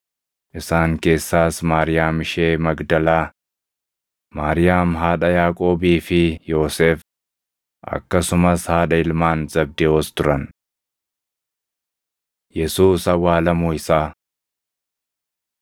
Isaan keessaas Maariyaam ishee Magdalaa, Maariyaam haadha Yaaqoobii fi Yoosef, akkasumas haadha ilmaan Zabdewoos turan. Yesuus Awwaalamuu Isaa 27:57‑61 kwf – Mar 15:42‑47; Luq 23:50‑56; Yoh 19:38‑42